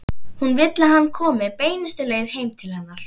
Hún vill að hann komi beinustu leið heim til hennar.